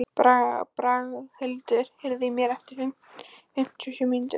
Braghildur, heyrðu í mér eftir fimmtíu og sjö mínútur.